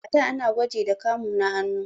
A da ana gwaji da kamu na hannu.